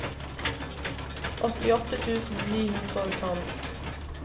åttiåtte tusen ni hundre og tolv